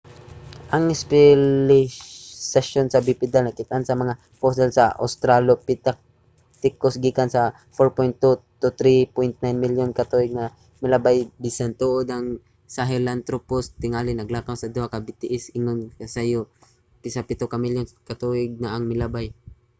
ang espesyalisasyon sa bipedal nakit-an sa mga fossil sa australopithecus gikan 4.2-3.9 milyon ka tuig na ang milabay bisan tuod ang sahelanthropus tingali naglakaw sa duha ka mga bitiis ingon ka sayo sa pito ka milyon ka tuig na ang milabay